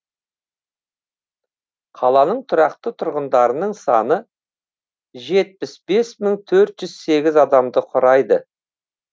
қаланың тұрақты тұрғындарының саны жетпіс бес мың төрт жүз сегіз адамды құрайды